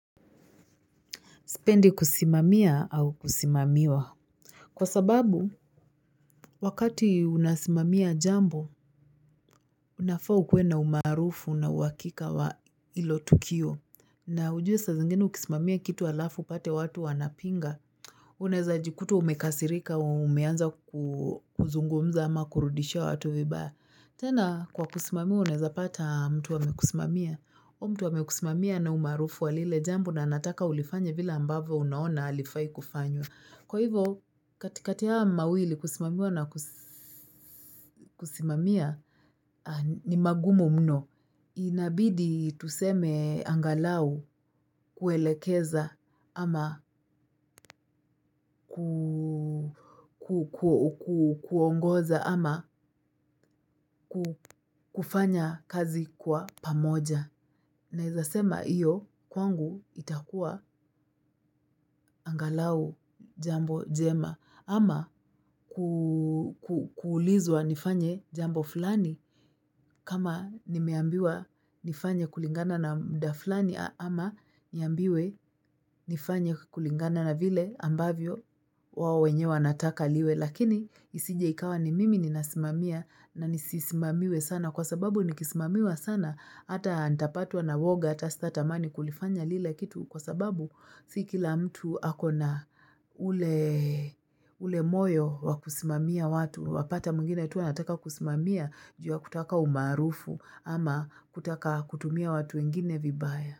Spendi kusimamia au kusimamiwa. Kwa sababu wakati unasimimia jambo unafaa ukuwe na umaarufu na uwakika wa hilo tukio. Na ujue sa zingine ukismamia kitu alafu pate watu wanapinga. Uneza jikuta umekasirika wa umeanza kuzungumza ama kurudishia watu vibaya. Tena kwa kusimamia uneza pata mtu wamekusimamia. Huu mtu wamekusimamia na umarufu wa lile jambo na anataka ulifanye vila ambavo unaona alifai kufanywa. Kwa hivo, katikati haya mawili kusimamiwa na kusimamiya ni magumu mno. Inabidi tuseme angalau kuelekeza ama kuongoza ama kufanya kazi kwa pamoja. Naezasema iyo kwangu itakua angalau jambo jema ama kuulizwa nifanye jambo fulani kama nimeambiwa nifanye kulingana na muda fulani ama niambiwe nifanye kulingana na vile ambavyo wao wenyewe wanataka liwe. Lakini isije ikawa ni mimi ni nasimamia na nisisimamiwe sana kwa sababu ni kismamiwa sana ata ntapatwa na woga, ata stata mani kulifanya lila kitu kwa sababu sikila mtu akona ule moyo wakusimamia watu wapata mwingine tuanataka kusimamia jua kutaka umaarufu ama kutaka kutumia watu wengine vibaya.